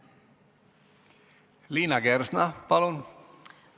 Liina Kersna, palun!